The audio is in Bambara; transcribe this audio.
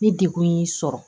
Ni degun y'i sɔrɔ